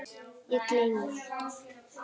Ég gleymi alltaf.